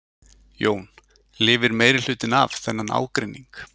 Jón: Lifir meirihlutinn af þennan ágreining?